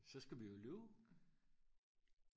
så skal vi jo løbe